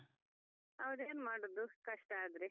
ಹೌದು ಏನ್ ಮಾಡುದು ಕಷ್ಟಾದ್ರೆ.